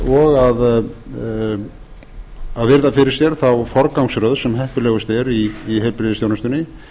og að virða fyrir sér þá forgangsröð sem heppilegust er í heilbrigðisþjónustunni